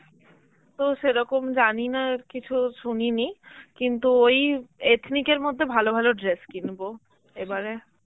তো সেরকম জানিনা কিছু শুনিনি, কিন্তু ওই ethnic এর মধ্যে ভালো ভালো dress কিনব এবারে.